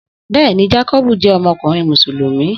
Bẹ́ẹ̀ni, Jakobu jẹ́ ọmọkùnrin Mùsùlùmí